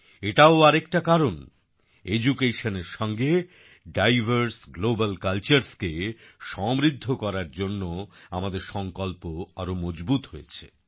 এটাও আরেকটা কারণ যে Educationএর সঙ্গে ডাইভার্স গ্লোবাল কালচার্স কে সমৃদ্ধ করার জন্য আমাদের সংকল্প আরো মজবুত হয়েছে